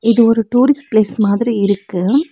இது ஒரு tourist place மாதிரி இருக்கு.